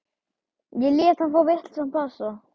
Ég lét hann fá vitlausan passa.